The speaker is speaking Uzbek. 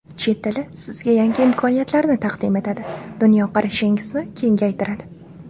Chet tili sizga yangi imkoniyatlarni taqdim etadi, dunyoqarashingizni kengaytiradi.